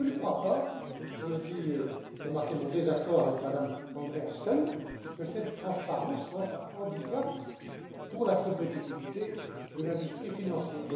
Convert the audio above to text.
Et je ne crois pas, je le dis pour marquer mon désaccord avec Mme Andreasen, que cette transparence soit un handicap pour la compétitivité de l'industrie financière.